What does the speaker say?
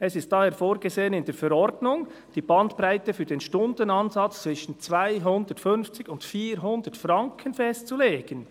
Es ist daher vorgesehen in der Verordnung die Bandbreite für den Stundenansatz zwischen CHF 250.00 und CHF 400.00 festzulegen.